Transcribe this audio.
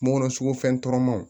Mɔ sogo fɛn tɔɔrɔlenw